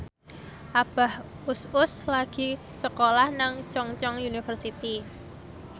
Abah Us Us lagi sekolah nang Chungceong University